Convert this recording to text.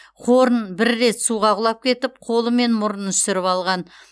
хорн бір рет суға құлап кетіп қолы мен мұрнын үсіріп алған